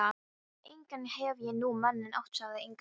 Nei, engan hef ég nú manninn átt, sagði Inga.